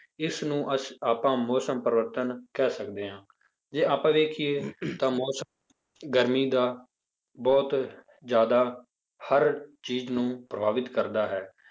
ਇਸਨੂੰ ਅਸ~ ਆਪਾਂ ਮੌਸਮ ਪਰਿਵਰਤਨ ਕਹਿ ਸਕਦੇ ਹਾਂ, ਜੇ ਆਪਾਂ ਵੇਖੀਏ ਤਾਂ ਮੌਸਮ ਗਰਮੀ ਦਾ ਬਹੁਤ ਜ਼ਿਆਦਾ ਹਰ ਚੀਜ਼ ਨੂੰ ਪ੍ਰਭਾਵਿਤ ਕਰਦਾ ਹੈ।